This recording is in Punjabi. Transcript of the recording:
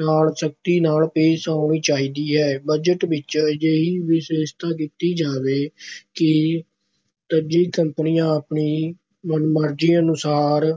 ਨਾਲ ਸਖ਼ਤੀ ਨਾਲ ਪੇਸ਼ ਆਉਣਾ ਚਾਹੀਦਾ ਹੈ। ਬਜਟ ਵਿੱਚ ਅਜਿਹੀ ਵਿਵਸਥਾ ਕੀਤੀ ਜਾਵੇ ਕਿ ਤੱਜੀ ਕੰਪਨੀਆਂ ਆਪਣੀ ਮਨਮਰਜ਼ੀ ਅਨੁਸਾਰ